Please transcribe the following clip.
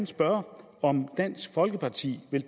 spørge om dansk folkeparti vil